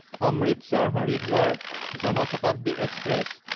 অমৃতসৰ–হৰিদ্বাৰ Jan Shatabdi express